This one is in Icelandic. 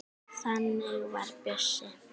Þannig var Bjössi.